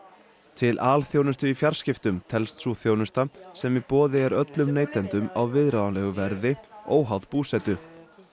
til alþjónustu í fjarskiptum telst sú þjónusta sem í boði er öllum neytendum á viðráðanlegu verði óháð búsetu